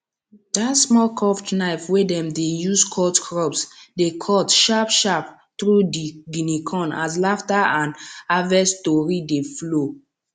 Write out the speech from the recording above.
dat small curved knife wey dem dey use cut crops dey cut sharpsharp through di guinea corn as laughter and harvest tory dey flow